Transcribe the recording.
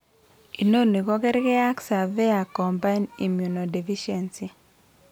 Inoni ko kerge ag severe combined immunodeficiency .